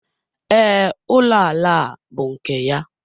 Ee, ụlọ ala a bú nke ya.